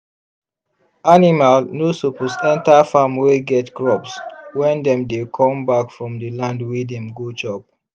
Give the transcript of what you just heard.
animal no suppose enter farm wey get crops when dem dey come back from the land wey dem go chop.